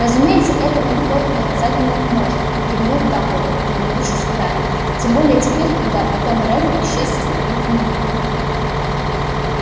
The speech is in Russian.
разумеется этого никто доказать не может кивнул дамблдор улыбнувшись гарри тем более теперь когда том реддл исчез со страниц дневника